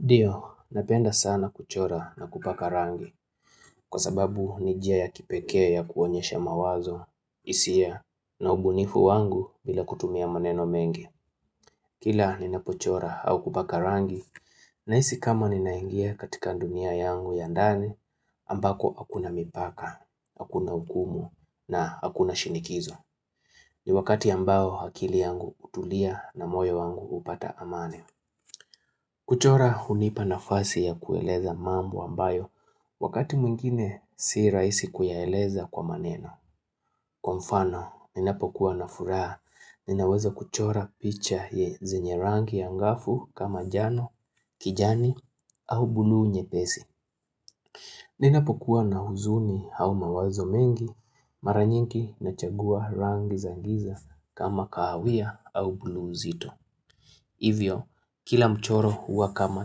Ndio, napenda sana kuchora na kupaka rangi, kwa sababu ni njia ya kipekee ya kuonyesha mawazo, hisia, na ubunifu wangu bila kutumia maneno mengi. Kila ninapochora au kupaka rangi, nahiisi kama ni naingia katika dunia yangu ya ndani, ambako hakuna mipaka, hakuna hukumu, na hakuna shinikizo. Ni wakati ambao akili yangu hutulia na moyo wangu hupata amani. Kuchora hunipa nafasi ya kueleza mambo ambayo, wakati mwingine si rahisi kuyaeleza kwa maneno. Kwa mfano, ninapokuwa na furaha, ninaweza kuchora picha ye zenye rangi ya ngafu kama njano, kijani, au bulu nyepesi. Ninapokuwa na huzuni au mawazo mengi, mara nyingi na chagua rangi za giza kama kawia au buluu zito. Hivyo, kila mchoro huwa kama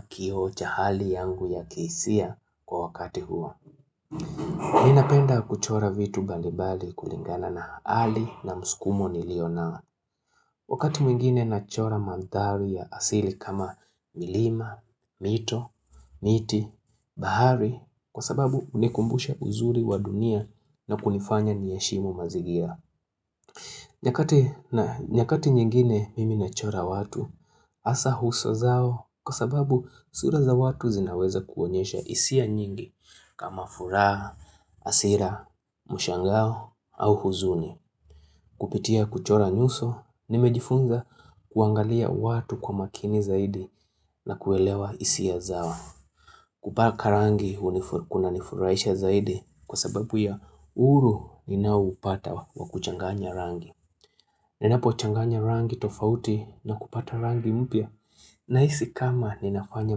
kioo cha hali yangu ya kihisia kwa wakati huo ninapenda kuchora vitu mbalibali kulingana na hali na muskumo nilionao Wakati mwingine na chora manthari ya asili kama milima, mito, miti, bahari Kwa sababu hunikumbusha uzuri wa dunia na kunifanya niheshimu mazingira nyakati nyingine mimi na chora watu, hasa uso zao kwa sababu sura za watu zinaweza kuonyesha hisia nyingi kama furaha, hasira, mshangao au huzuni. Kupitia kuchora nyuso, nimejifunza kuangalia watu kwa makini zaidi na kuelewa hisia zao. Kupaka rangi, kuna nifuraisha zaidi kwa sababu ya uhuru ninaoupata wa kuchanganya rangi. Ninapo changanya rangi tofauti na kupata rangi mpya nahisi kama ninafanya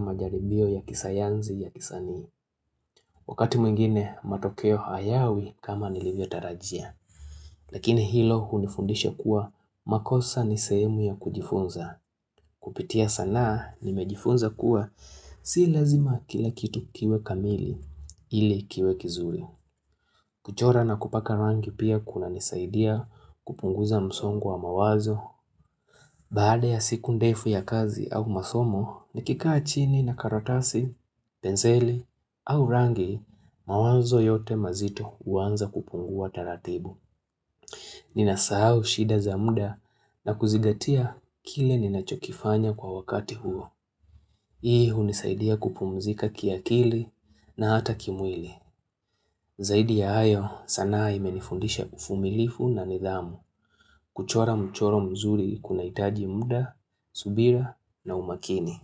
majaribio ya kisayansi ya kisanii. Wakati mwingine matokeo hayawi kama nilivyo tarajia. Lakini hilo hunifundisha kuwa makosa nisehemu ya kujifunza. Kupitia sanaa nimejifunza kuwa si lazima kila kitu kiwe kamili ili kiwe kizuri. Kuchora na kupaka rangi pia kuna nisaidia kupunguza msongo wa mawazo. Baada ya siku ndefu ya kazi au masomo, nikikaa chini na karatasi, penseli au rangi, mawanzo yote mazito huanza kupungua taratibu. Ninasahau shida za muda na kuzigatia kile ninachokifanya kwa wakati huo. Hii hunisaidia kupumzika kiakili na hata kimwili. Zaidi ya hayo sanaa imenifundisha uvumilivu na nidhamu kuchora mchoro mzuri kuna hitaji muda, subira na umakini.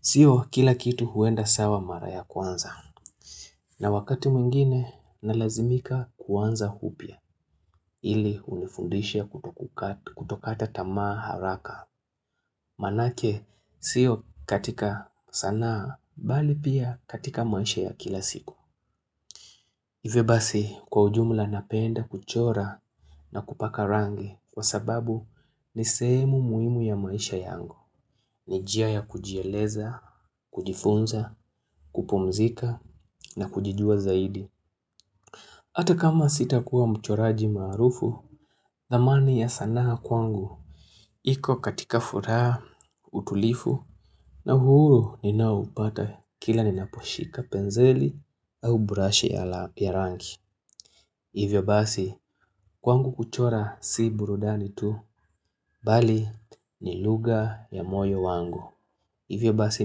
Sio kila kitu huenda sawa mara ya kwanza. Na wakati mwingine nalazimika kuanza upya ili unifundisha kutokata tamaa haraka. Manake sio katika sanaa bali pia katika maisha ya kila siku. Hivyo basi kwa ujumla napenda kuchora na kupaka rangi kwa sababu ni sehemu muhimu ya maisha yangu. Ni njia ya kujieleza, kujifunza, kupumzika na kujijua zaidi. Ata kama sitakua mchoraji maarufu, dhamani ya sanaa kwangu. Iko katika furaha, utulivu na uhuru ninaoupata kila ninaposhika penseli au brashi ya rangi. Hivyo basi, kwangu kuchora si burudani tu, bali ni lugha ya moyo wangu. Hivyo basi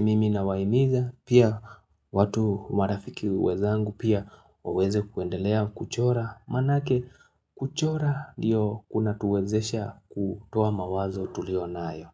mimi na wahimiza, pia watu marafiki wenzangu pia waweze kuendelea kuchora, manake kuchora ndio kuna tuwezesha kutoa mawazo tulionayo.